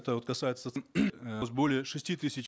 касается более шести тысяч